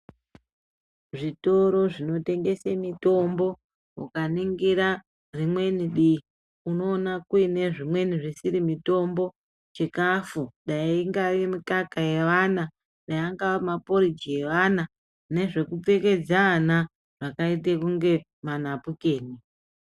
Zvitoro zvinotengese mitombo ukaningira zvimweni dii unoona kuine zvimweni zvisiri mitombo chikafu dai ingava mikaka yevana dai angava maporiji evana nezvekupfekedza ana akaita kunge manapukeni.